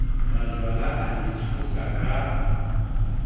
majwala a le tshosa ka